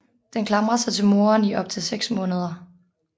Den klamrer sig til moren i op til seks måneder